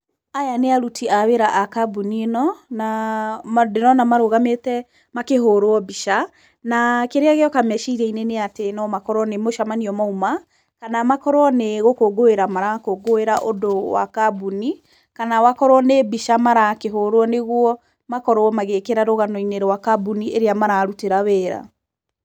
Aya nĩ aruti a wĩra a kambuni ĩno, na ndĩrona marũgamĩte makĩhũrwo mbica, na kĩrĩa gĩoka meciria-inĩ nĩ atĩ no mokorwo nĩ mũcemanio mauma kana makorwo nĩ gũkũngũĩra marakũngũĩra ũndũ wa kambuni, kana makorwo nĩ mbica marakĩhũrwo nĩguo makorwo magĩkĩra rũgao-inĩ rwa kambuni ĩrĩa mararutĩra wĩra.